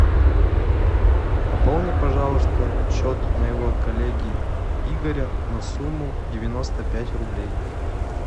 пополни пожалуйста счет моего коллеги игоря на сумму девяносто пять рублей